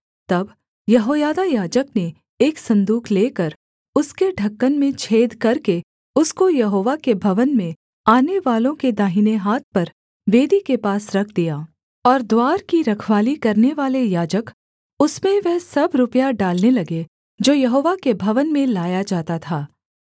तब यहोयादा याजक ने एक सन्दूक लेकर उसके ढ़क्कन में छेद करके उसको यहोवा के भवन में आनेवालों के दाहिने हाथ पर वेदी के पास रख दिया और द्वार की रखवाली करनेवाले याजक उसमें वह सब रुपया डालने लगे जो यहोवा के भवन में लाया जाता था